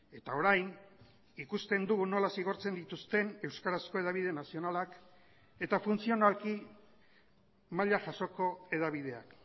eta orain ikusten dugu nola zigortzen dituzten euskarazko hedabide nazionalak eta funtzionalki maila jasoko hedabideak